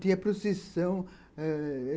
Tinha procissão.